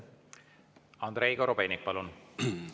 Andrei Korobeinik, palun!